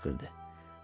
Qoca qışqırdı.